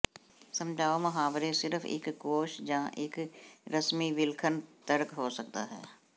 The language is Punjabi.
ਸਮਝਾਓ ਮੁਹਾਵਰੇ ਸਿਰਫ ਇੱਕ ਕੋਸ਼ ਜ ਇੱਕ ਰਸਮੀ ਵਿਲੱਖਣ ਤਰਕ ਹੋ ਸਕਦਾ ਹੈ